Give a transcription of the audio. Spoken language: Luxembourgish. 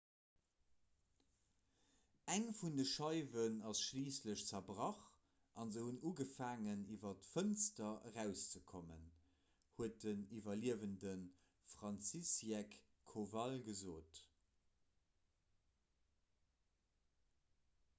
eng vun de scheiwen ass schliisslech zerbrach a se hunn ugefaangen iwwer d'fënster erauszekommen huet den iwwerliewende franciszek kowal gesot